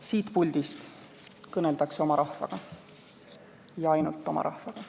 Siit puldist kõneldakse oma rahvaga ja ainult oma rahvaga.